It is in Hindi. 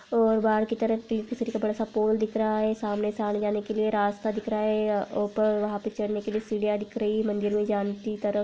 और बहार की तरफ सा पोल दिख रहा है सामने से आने जाने के लिए रास्ता दिख रहा है ऊपर वहां पर चड़ने के लिये सीढ़िया दिख रही है मंदिर मै जाने की तरफ --